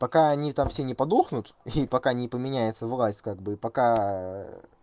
пока они там все не подохнут и пока не поменяется власть как бы пока